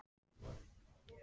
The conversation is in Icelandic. Vill ekki vera öðruvísi.